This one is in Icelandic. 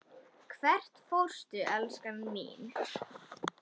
Hvert fórstu, elskan mín?